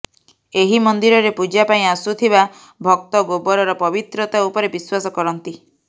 ଏହି ମନ୍ଦିରରେ ପୂଜା ପାଇଁ ଆସୁଥିବା ଭକ୍ତ ଗୋବରର ପବିତ୍ରତା ଉପରେ ବିଶ୍ୱାସ କରନ୍ତି